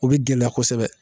O bɛ gɛlɛya kosɛbɛ